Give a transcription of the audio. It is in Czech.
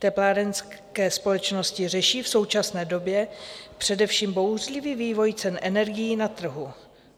Teplárenské společnosti řeší v současné době především bouřlivý vývoj cen energií na trhu.